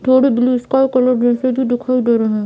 पेड़ sky colour जैसे भी दिखाई दे रहे हैं।